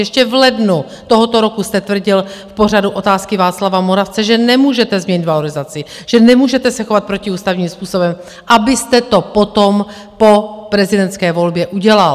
Ještě v lednu tohoto roku jste tvrdil v pořadu Otázky Václava Moravce, že nemůžete změnit valorizaci, že se nemůžete chovat protiústavním způsobem, abyste to potom po prezidentské volbě udělal.